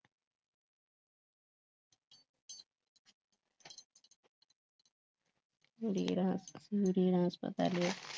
হাসপাতালে